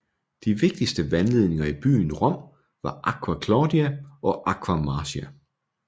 De vigtigste vandledninger i byen Rom var Aqua Claudia og Aqua Marcia